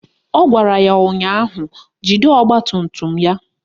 Ọ gwara ya ụnyaahụ "Jide ọgbatumtum ya"!